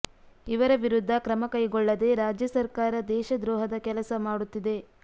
ಇವರ ವಿರುದ್ಧ ಕ್ರಮ ಕೈಗೊಳ್ಳದೆ ರಾಜ್ಯ ಸರ್ಕಾರ ದೇಶದ್ರೋಹದ ಕೆಲಸ ಮಾಡುತ್ತಿದೆ